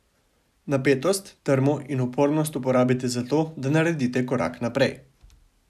Napetost, trmo in upornost uporabite za to, da naredite korak naprej.